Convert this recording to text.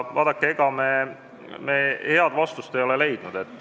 Vaadake, ega me head vastust ei ole leidnud.